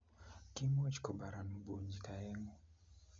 Kimuch kubaran bunyik oeng'u